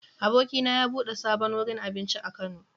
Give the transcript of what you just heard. Abokina ya bude sabon wurin abinci a Kano.